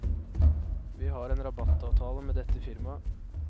Vi har en rabattavtale med dette firmaet.